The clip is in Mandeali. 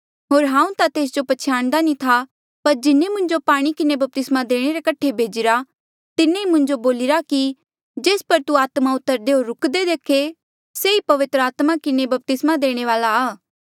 होर हांऊँ ता तेस जो पछयाणदा नी था पर जिन्हें मुंजो पाणी किन्हें बपतिस्मा देणे रे कठे भेजिरा तिन्हें ई मुंजो बोलिरा कि जेस पर तू आत्मा उतरदे होर रूकदे देखे से ई पवित्र आत्मा किन्हें बपतिस्मा देणे वाल्आ आ